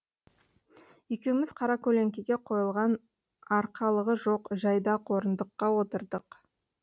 екеуміз қаракөлеңкеге қойылған арқалығы жоқ жайдақ орындыққа отырдық